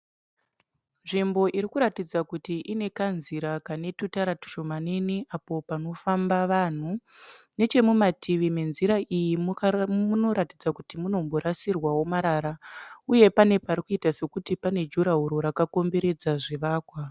Nzvimbo iri kuratidza kuti ine kanzira kakagadzirwa netutara tushomanene apo panofamba vanhu. Nechemumativi menzira iyi munoratidza kuti munomborasirwawo marara, uye pane pari kuita sekuti pane juraharo rakamboredza zvivakwa.